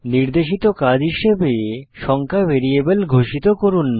নির্দেশিত কাজ হিসাবে সংখ্যা ভ্যারিয়েবল ঘোষিত করুন